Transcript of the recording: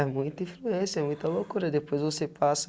É, muita influência, muita loucura, depois você passa